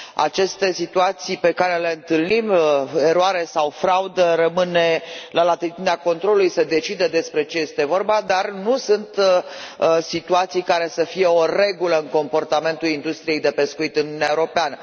Aceste situații pe care le întâlnim, eroare sau fraudă rămâne la latitudinea controlului să decidă despre ce este vorba dar nu sunt situații care să fie o regulă în comportamentul industriei de pescuit în Uniunea Europeană.